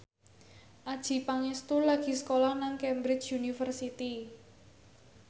Adjie Pangestu lagi sekolah nang Cambridge University